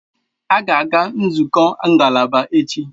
Aga a-aga nzukọ ngalaba echi.